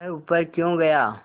वह ऊपर क्यों गया